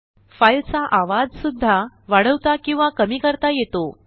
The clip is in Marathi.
फाईलचा आवाज सुद्धा वाढवता किंवा कमी करता येतो